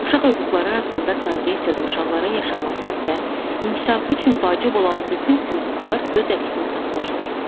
Uşaq hüquqları haqqında konvensiyada uşaqların yaşaması və inkişafı üçün vacib olan bütün hüquqlar öz əksini tapmışdır.